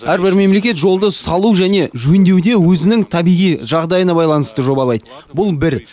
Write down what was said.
әрбір мемлекет жолды салу және жөндеуде өзінің табиғи жағдайына байланысты жобалайды бұл бір